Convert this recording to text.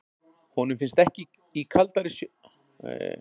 Hann finnst ekki í kaldari sjó Norðanlands.